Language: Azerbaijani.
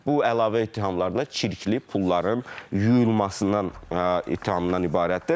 Bu əlavə ittihamlardan çirkli pulların yuyulmasından ittihamından ibarətdir.